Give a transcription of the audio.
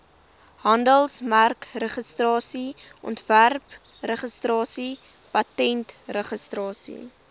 handelsmerkregistrasie ontwerpregistrasie patentregistrasie